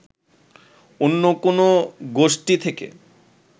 অন্য কোনো গোষ্ঠী থেকে